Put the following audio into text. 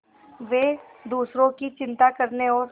वे दूसरों की चिंता करने और